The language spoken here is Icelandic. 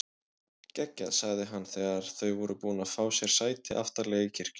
Geggjað sagði hann þegar þau voru búin að fá sér sæti aftarlega í kirkjunni.